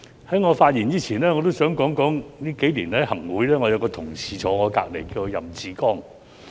在我發言前，我也想說說，數年來，在行政會議上，有一位同事坐在我身旁，他叫任志剛。